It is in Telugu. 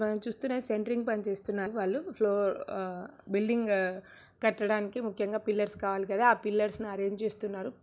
మనం చుస్తునే సెంట్రింగ్ పని చేస్తున్నారు వాళ్లు ఫ్లోర్ అ బిల్డింగ్ కట్టడానికి ముక్యం గా పిల్లర్స్ కావాలి కదా ఆ పిల్లర్స్ను అర్రెంజే చేస్తున్నారు.